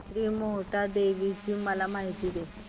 श्री मोहटादेवी ची मला माहिती दे